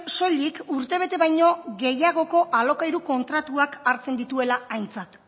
soilik urtebete baino gehiagoko alokairu kontratuak hartzen dituela aintzat